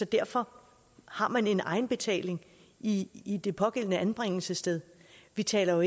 derfor har man en egenbetaling i i det pågældende anbringelsessted vi taler jo